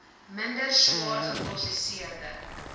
minder swaar geprosesseerde